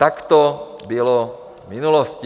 Tak to bylo v minulosti.